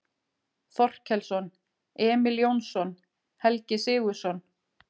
Þorkelsson, Emil Jónsson, Helgi Sigurðsson